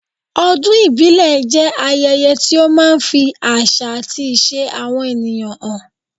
Ọdún ìbílẹ̀ jẹ́ ayẹyẹ tí ó máa ń fi àṣà àti ìṣe àwọn ènìyàn hàn.